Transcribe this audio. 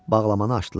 Bağlamanı açdılar.